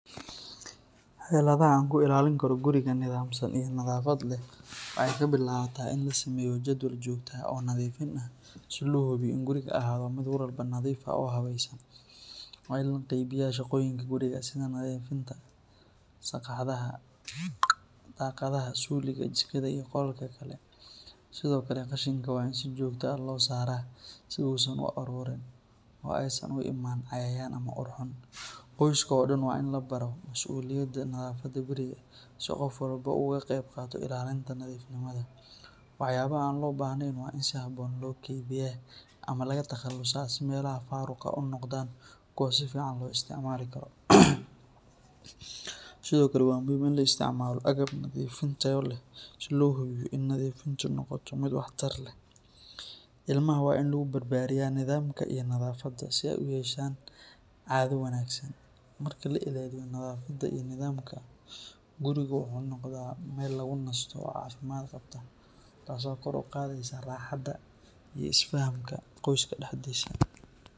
Xeladaha aan ku ilaalin karo guriga nidaamsan iyo nadaafad leh waxay ka bilaabataa in la sameeyo jadwal joogto ah oo nadiifin ah si loo hubiyo in gurigu ahaado mid mar walba nadiif ah oo habaysan. Waa in la qaybiyaa shaqooyinka guriga sida nadiifinta sagxadaha, daaqadaha, suuliga, jikada iyo qolalka kale. Sidoo kale, qashinka waa in si joogto ah loo saaraa si uusan u ururin oo aysan u imaan cayayaan ama ur xun. Qoyska oo dhan waa in la baro mas’uuliyadda nadaafadda guriga si qof walba uu uga qayb qaato ilaalinta nadiifnimada. Waxyaabaha aan loo baahnayn waa in si habboon loo kaydiyaa ama laga takhalusaa si meelaha faaruq ah u noqdaan kuwo si fiican loo isticmaali karo. Sidoo kale, waa muhiim in la isticmaalo agab nadiifin tayo leh si loo hubiyo in nadiifintu noqoto mid waxtar leh. Ilmaha waa in lagu barbaariyaa nidaamka iyo nadaafadda si ay u yeeshaan caado wanaagsan. Marka la ilaaliyo nadaafadda iyo nidaamka, gurigu wuxuu noqdaa meel lagu nasto oo caafimaad qabta, taasoo kor u qaadaysa raaxada iyo isfahamka qoyska dhexdiisa.